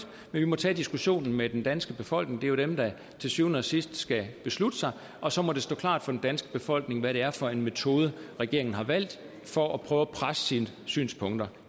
vi må tage diskussionen med den danske befolkning det er jo dem der til syvende og sidst skal beslutte sig og så må det stå klart for den danske befolkning hvad det er for en metode regeringen har valgt for at prøve at presse sine synspunkter